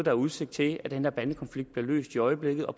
er udsigt til at den her bandekonflikt bliver løst i øjeblikket og